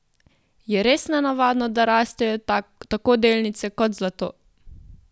Je res nenavadno, da rastejo tako delnice kot zlato?